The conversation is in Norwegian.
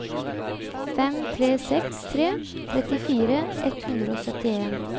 fem tre seks tre trettifire ett hundre og syttien